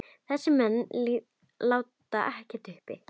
Þessir menn láti ekkert uppi.